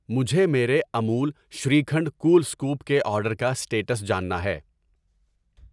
مجھے میرے Amul shrikhand cool scoop کے آرڈر کا اسٹیٹس جاننا ہے